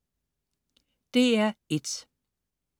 DR1: